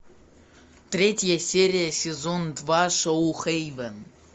третья серия сезон два шоу хейвен